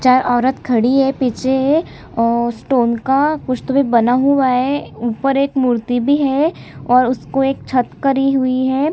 चार औरत खड़ी है पीछे ओ स्टोन का कुछ ट्री बना हुआ है ऊपर एक मूर्ति भी है और उसको एक छत करी हुई हैं।